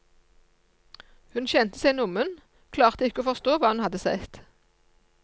Hun kjente seg nummen, klarte ikke å forstå hva hun hadde sett.